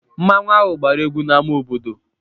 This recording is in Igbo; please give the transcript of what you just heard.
Mmanwu ahụ gbara egwu n'ámá obodo.